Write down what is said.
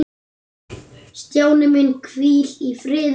Stjáni minn, hvíl í friði.